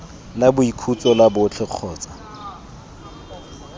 la boikhutso la botlhe kgotsa